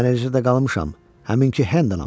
Mən eləcə də qalmışam, həminki Hendonam.